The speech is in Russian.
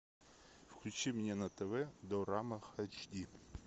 включи мне на тв дорама эйч ди